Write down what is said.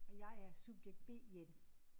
Og jeg er subjekt B Jette